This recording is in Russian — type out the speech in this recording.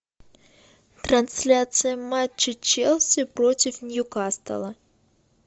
трансляция матча челси против ньюкасла